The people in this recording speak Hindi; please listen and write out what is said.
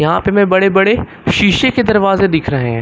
वहां पे हमे बड़े बड़े शीशे के दरवाजे दिख रहे--